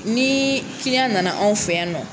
Ni nana anw fɛ yan nɔ